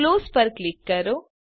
close પર click કરો